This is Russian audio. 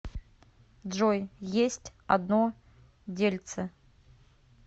джой есть одно дельце